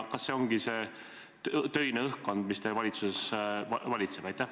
Ja kas see ongi see töine õhkkond, mis teie valitsuses valitseb?